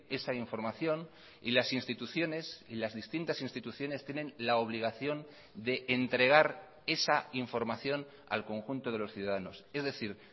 esa información y las instituciones y las distintas instituciones tienen la obligación de entregar esa información al conjunto de los ciudadanos es decir